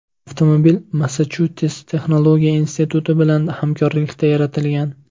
Avtomobil Massachusets texnologiya instituti bilan hamkorlikda yaratilgan.